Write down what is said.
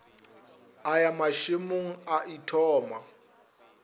a ya mašemong a ithoma